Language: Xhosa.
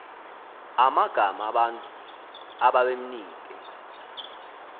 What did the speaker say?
amagama abantu ababemnike